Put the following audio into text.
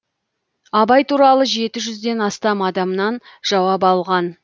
абай туралы жеті жүзден астам адамнан жауап алған